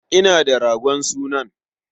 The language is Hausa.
Ina da ragon sunan.